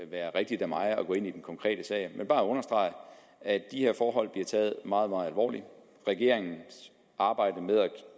være rigtigt af mig at gå ind i den konkrete sag vil bare understrege at de her forhold bliver taget meget meget alvorligt regeringens arbejde med at